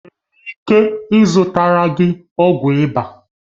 Enwere m ike ịzụtara gị ọgwụ ịba?